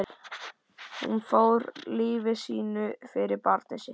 Hún fórnaði lífi sínu fyrir barnið sitt.